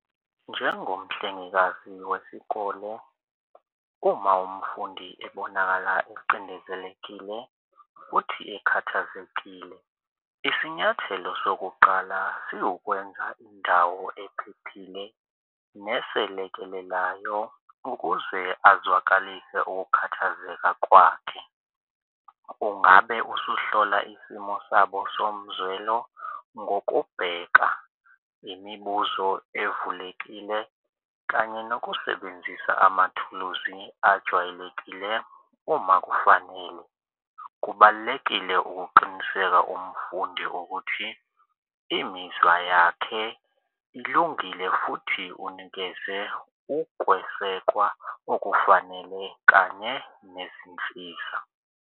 Njengomhlengekazi wesikole uma umfundi ebonakala ecindezelekile futhi ekhathazekile, isinyathelo sokuqala siwukwenza indawo ephephile neselekelelayo ukuze azwakalise ukukhathazeka kwakhe. Ungabe usuhlola isimo sabo somzwelo ngokubheka imibuzo evulekile kanye nokusebenzisa amathuluzi ajwayelekile uma kufanele. Kubalulekile ukuqiniseka umfundi ukuthi imizwa yakhe ilungile futhi unikeze ukwesekwa okufanele kanye nezinsiza.